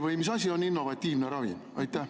Või mis asi on innovatiivne ravim?